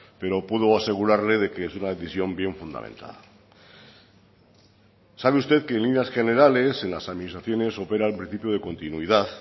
pero puedo asegurarle que es una decisión bien fundamentada sabe usted que en líneas generales las administraciones operan el principio de continuidad